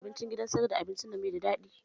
Abinci gidan sayar da abinci nan bai da daɗi